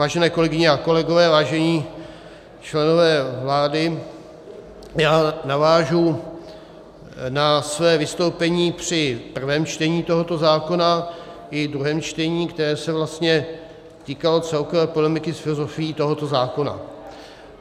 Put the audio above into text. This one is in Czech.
Vážené kolegyně a kolegové, vážení členové vlády, já navážu na své vystoupení při prvém čtení tohoto zákona i druhém čtení, které se vlastně týkalo celkové polemiky s filozofií tohoto zákona.